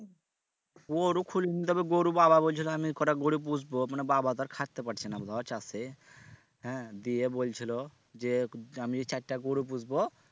গরু খুলি নিই তবে গরু বাবা বলছিল আমি কটা গরু পুষবো মানে বাবা তো আর খাটতে পারছে না ধর চাষে হ্যাঁ দিয়ে বলছিল যে আমি চারটা গরু পুষবো